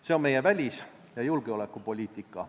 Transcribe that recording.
See on meie välis- ja julgeolekupoliitika.